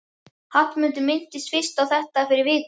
Hallmundur minntist fyrst á þetta fyrir viku.